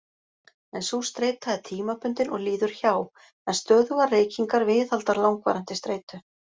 En sú streita er tímabundin og líður hjá, en stöðugar reykingar viðhalda langvarandi streitu.